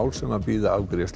sem bíða afgreiðslu